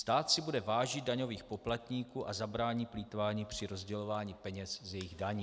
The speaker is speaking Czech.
Stát si bude vážit daňových poplatníků a zabrání plýtvání při rozdělování peněz z jejich daní."